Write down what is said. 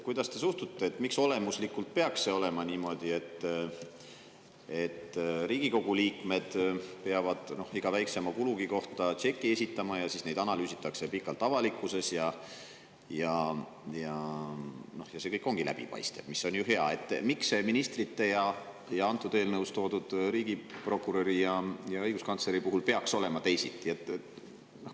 Kas olemuslikult peaks olema niimoodi, et Riigikogu liikmed peavad iga väiksema kulu kohta esitama tšeki, mida siis pikalt analüüsitakse avalikkuses, ja see kõik ongi läbipaistev – see on ju hea –, aga ministrite ja antud eelnõus toodud riigi prokuröri ja õiguskantsleri puhul peaks olema teisiti?